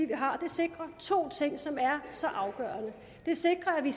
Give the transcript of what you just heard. vi har sikrer to ting som er så afgørende det sikrer at vi